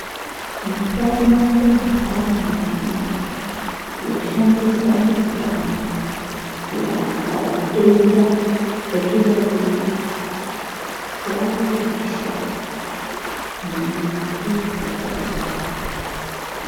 Mitombo indani mizhinji yoshandiswa mazuwano kurapa matenda atingadhibana nawo yayemishango mimbiti yatakagara nayo.